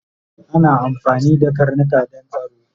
Ana amfani da karnika Dan tsaro